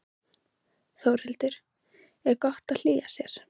Þórhildur: Er gott að hlýja sér?